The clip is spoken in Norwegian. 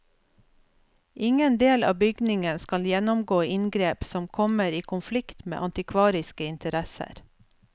Ingen del av bygningen skal gjennomgå inngrep som kommer i konflikt med antikvariske interesser.